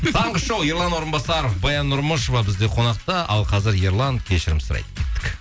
таңғы шоу ерлан орынбасаров баян нұрмышева бізде қонақта ал қазір ерлан кешірім сұрайды кеттік